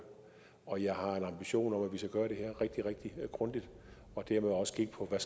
og jeg har en ambition om at vi skal gøre det her rigtig rigtig grundigt og dermed også kigge på hvad